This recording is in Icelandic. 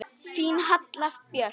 Þín Halla Björk.